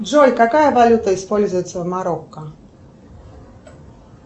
джой какая валюта используется в марокко